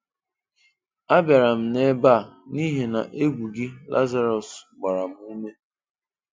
A bịara m n'ebe a, n'ihi na egwú gị Lazarọs, gbara m ụmé.